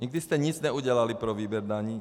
Nikdy jste nic neudělali pro výběr daní.